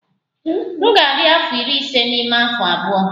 M ga-adị afọ iri ise n'ime afọ abụọ.